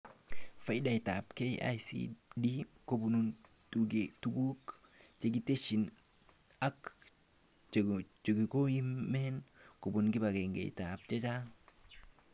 Faidaitab KICD kobun tugukab tesisyit ak chekomen kobun kebagengeshek chechang